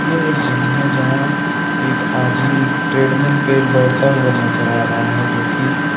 ये एक जिम है जहाँ एक आदमी एक ट्रेडमिल पे दौड़ता हुआ नजर आ रहा है जो की --